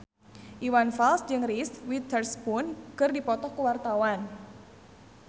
Iwan Fals jeung Reese Witherspoon keur dipoto ku wartawan